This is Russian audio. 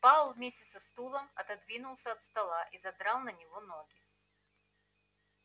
пауэлл вместе со стулом отодвинулся от стола и задрал на него ноги